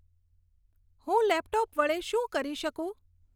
હું લેપટોપ વડે શું કરી શકું